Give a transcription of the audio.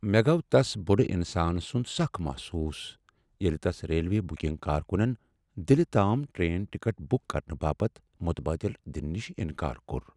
مےٚ گوٚو تس بُڈٕ انسان سُنٛد سخ محسوس ییٚلہ تس ریلوے بکنگ کارکُنن دلہ تام ٹرٛین ٹکٹ بک کرنہٕ باپتھ متبادل دنہٕ نش انکار کوٚر۔